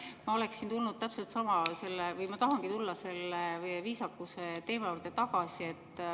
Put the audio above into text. Ma oleksin tulnud või tahangi tulla selle viisakuse teema juurde tagasi.